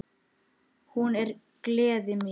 Hún er gleði mín.